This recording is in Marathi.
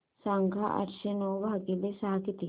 सांगा आठशे नऊ भागीले सहा किती